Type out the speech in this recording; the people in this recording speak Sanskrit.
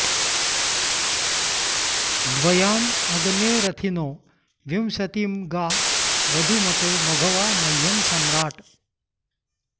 द्व॒याँ अ॑ग्ने र॒थिनो॑ विंश॒तिं गा व॒धूम॑तो म॒घवा॒ मह्यं॑ स॒म्राट्